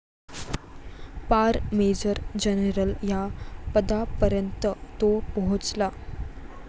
पार major general या पदापर्यंत तो पोहोचला.